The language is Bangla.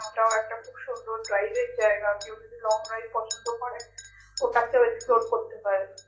ওটাও একটা খুব সুন্দর private জায়গা কেও যদি long drive পছন্দ করে ওটাতে explore করতে পারে